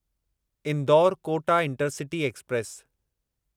Indore Kota intercity express